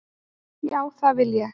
Já, það vil ég.